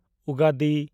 ᱩᱜᱟᱰᱤ